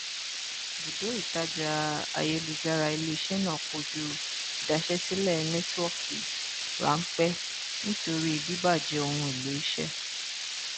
bùdó ìtajà ayélujára ileiṣẹ náà kojú ìdaṣẹsílẹ nẹtíwọkì rámpẹ nítorí bibàjẹ ohunèlò iṣẹ